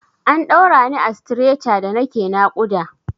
An ɗaura ni a stretcher da nake naƙuda.